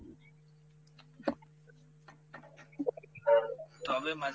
তবে মাঝে,